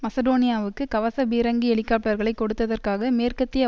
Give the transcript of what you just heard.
மசடோனியாவுக்கு கவச பீரங்கி ஹெலிகாப்டர்களைக் கொடுத்ததற்காக மேற்கத்திய